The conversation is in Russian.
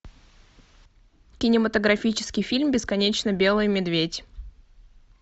кинематографический фильм бесконечно белый медведь